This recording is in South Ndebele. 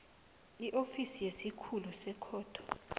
iofisi yesikhulu sekhotho